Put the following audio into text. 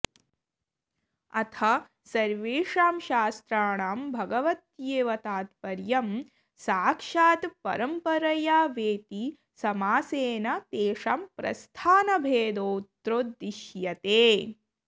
अथ सर्वेषां शास्त्राणां भगवत्येव तात्पर्यं साक्षात्परम्परया वेति समासेन तेषां प्रस्थानभेदोऽत्रोद्दिश्यते